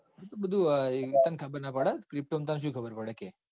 એતો બધુ તન ખબર ના પડે. માં ત તો તન pto માં તો સુ ખબર પડે કે.